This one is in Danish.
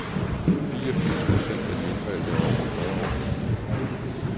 Fireogfirs procent af de indvalgte er over fyrre år.